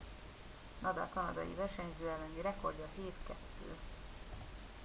nadal kanadiai versenyző elleni rekordja 7 - 2